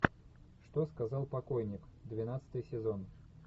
что сказал покойник двенадцатый сезон